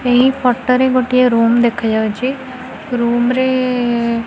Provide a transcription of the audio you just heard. ଏହି ଫଟୋ ରେ ଗୋଟିଏ ରୁମ୍ ଦେଖା ଯାଉଛି ରୁମ୍ ରେ --